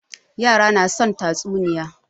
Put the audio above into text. Yara na son tatsuniya.